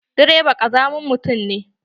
Direba ƙazamin mutum ne.